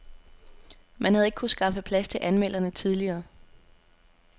Man havde ikke kunnet skaffe plads til anmelderne tidligere.